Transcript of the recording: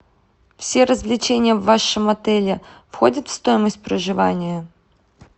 все развлечения в вашем отеле входят в стоимость проживания